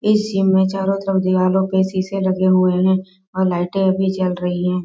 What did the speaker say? AC. में चारो तरफ दीवारों पे शीशे लगे हुए हैं और लाइटें भी जल रही हैं।